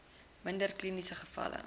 minder kliniese gevalle